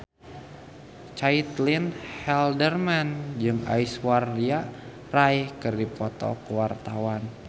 Caitlin Halderman jeung Aishwarya Rai keur dipoto ku wartawan